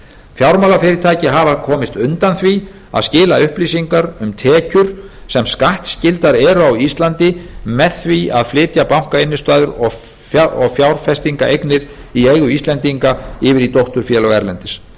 fjármálafyrirtæki hafa komist undan því að skila upplýsingum um tekjur sem skattskyldar eru á íslandi með því að flytja bankainnstæður og fjárfestingaeignir í eigu íslendinga yfir í dótturfélög erlendis